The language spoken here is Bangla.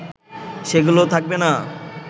সেগুলো থাকবে না